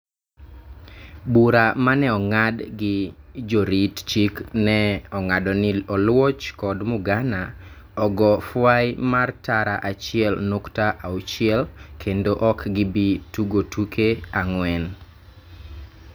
bura mane ongad gi jorit chik ne ongado ni Oluoch kod Mugana ogo fwai mar tara achiel nukta auchiel kendo ok gibi tugotuke angwen